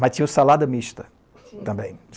Mas tinha o salada mista também.